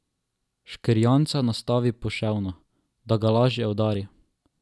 Škrjanca nastavi poševno, da ga lažje udari.